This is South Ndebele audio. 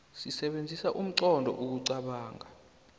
sisebenzisa inqondo ukuqobonga